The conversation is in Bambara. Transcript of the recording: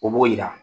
O b'o yira